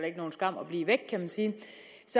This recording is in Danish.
ikke nogen skam at blive væk kan man sige